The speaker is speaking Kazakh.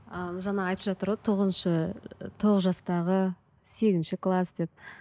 а жаңа айтып жатыр ғой тоғызыншы тоғыз жастағы сегізінші класс деп